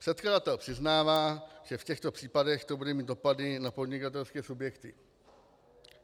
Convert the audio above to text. Předkladatel přiznává, že v těchto případech to bude mít dopady na podnikatelské subjekty.